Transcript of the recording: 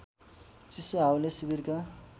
चिसो हावाले शिविरका